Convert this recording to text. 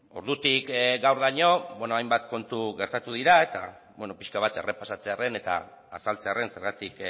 ordutik gaurdaino hainbat kontu gertatu dira eta beno pixka bat errepasatzearen eta azaltzearen zergatik